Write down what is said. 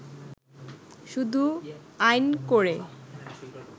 “ শুধু আইন করে